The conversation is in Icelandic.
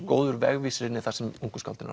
góður vegvísir inn í það sem ungu skáldin